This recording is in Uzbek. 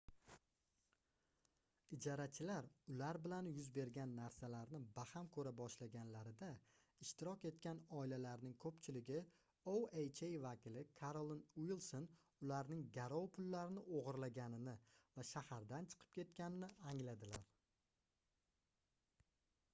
ijarachilar ular bilan yuz bergan narsalarni baham koʻra boshlaganlarida ishtirok etgan oilalarning koʻpchiligi oha vakili karolin uilson ularning garov pullarini ogʻirlaganini va shahardan chiqib ketganini angladilar